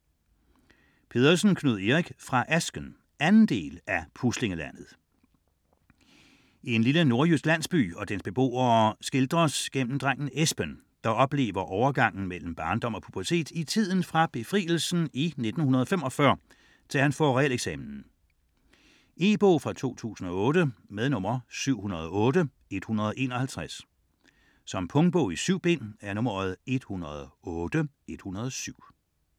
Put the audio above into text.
Pedersen, Knud Erik: Fra asken 2. del af Puslinglandet. En lille nordjysk landsby og dens beboere skildres gennem drengen Esben, der oplever overgangen mellem barndom og pubertet i tiden fra befrielsen i 1945 til han får realeksamen. E-bog 708151 2008. Punktbog 108107 2008. 7 bind.